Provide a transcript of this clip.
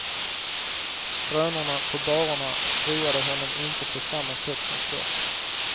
Skrönorna på barerna roade honom inte på samma sätt som förr.